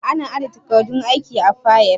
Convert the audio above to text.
Ana aje takardun aiki a fayil.